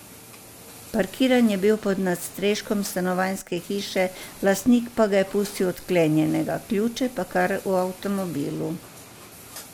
Parkiran je bil pod nadstreškom stanovanjske hiše, lastnik pa ga je pustil odklenjenega, ključe pa kar v avtomobilu.